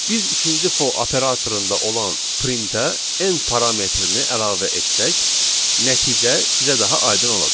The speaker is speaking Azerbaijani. Biz ikinci for operatorunda olan printə end parametrini əlavə etsək, nəticə sizə daha aydın olacaq.